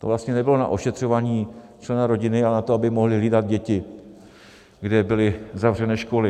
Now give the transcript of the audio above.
To vlastně nebylo na ošetřování člena rodiny, ale na to, aby mohli hlídat děti, kde byly zavřené školy.